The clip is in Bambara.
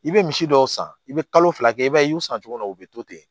I bɛ misi dɔw san i bɛ kalo fila kɛ i b'a ye i y'u san cogo min na u bɛ to ten